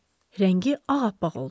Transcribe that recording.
Rəngi ağappaq oldu.